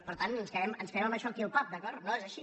per tant ens quedem amb això aquí al pap d’acord no és ai·xí